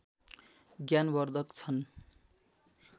ज्ञान वर्धक छन्